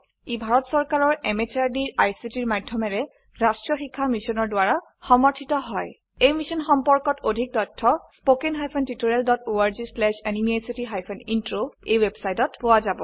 ই ভাৰত চৰকাৰৰ MHRDৰ ICTৰ মাধয়মেৰে ৰাস্ত্ৰীয় শিক্ষা মিছনৰ দ্ৱাৰা সমৰ্থিত হয় এই মিশ্যন সম্পৰ্কত অধিক তথ্য spoken hyphen tutorial dot org slash এনএমইআইচিত হাইফেন ইন্ট্ৰ ৱেবচাইটত পোৱা যাব